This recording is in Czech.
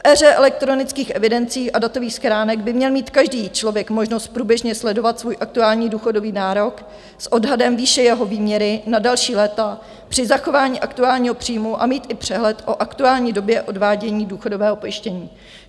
V éře elektronických evidencí a datových schránek by měl mít každý člověk možnost průběžně sledovat svůj aktuální důchodový nárok s odhadem výše jeho výměry na další léta při zachování aktuálního příjmu a mít i přehled o aktuální době odvádění důchodového pojištění.